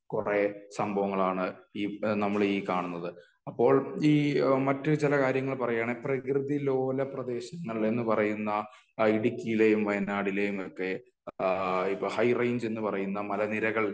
കുറെ സംഭവങ്ങളാണ് ഈ നമ്മൾ ഈ കാണുന്നത് . അപ്പോൾ ഈ മറ്റ് ചില കാര്യങ്ങൾ പറയുകയാണെൽ പ്രകൃതി ലോല പ്രദേശങ്ങൾ എന്ന് പറയുന്ന ഇടുക്കിയിലെയും വയനാടിലെയും ഒക്കെ ഹൈ റേഞ്ച് എന്ന് പറയുന്ന മല നിരകൾ